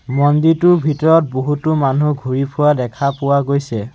মন্দিৰটোৰ ভিতৰত বহুতো মানুহ ঘূৰি ফুৰা দেখা পোৱা গৈছে।